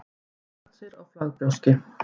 þeir voru samvaxnir á flagbrjóski